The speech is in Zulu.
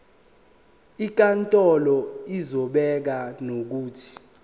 inkantolo izobeka nokuthi